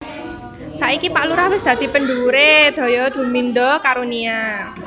Saiki Pak Lurah wis dadi pendhuwure Daya Bumindo Karunia